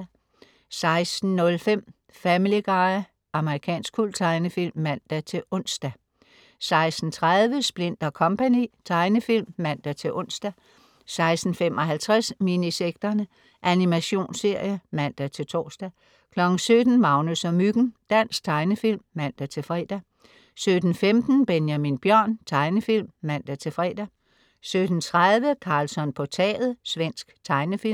16.05 Family Guy. Amerikansk kulttegnefilm (man-ons) 16.30 Splint & Co. Tegnefilm (man-ons) 16.55 Minisekterne. Animationsserie (man-tors) 17.00 Magnus og Myggen. Dansk tegnefilm (man-fre) 17.15 Benjamin Bjørn. Tegnefilm (man-fre) 17.30 Karlsson på taget. Svensk tegnefilm